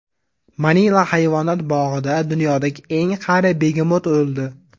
Manila hayvonot bog‘ida dunyodagi eng qari begemot o‘ldi.